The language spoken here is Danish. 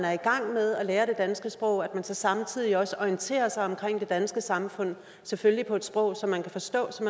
er i gang med at lære det danske sprog at hun så samtidig også orienterer sig om det danske samfund selvfølgelig på et sprog som hun kan forstå så